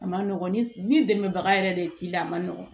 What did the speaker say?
A ma nɔgɔn ni dɛmɛbaga yɛrɛ de ye k'i la a ma nɔgɔn